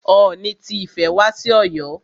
Ooni ti Ifẹ̀ wá sí Ọ̀yọ́.